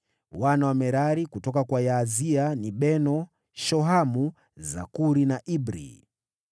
Wana wa Merari: kutoka kwa Yaazia: ni Beno, Shohamu, Zakuri na Ibri.